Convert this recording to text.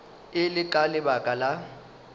e le ka lebaka la